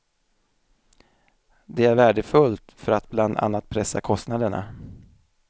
Det är värdefullt för att bland annat pressa kostnaderna.